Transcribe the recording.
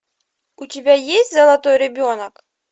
у тебя есть золотой ребенок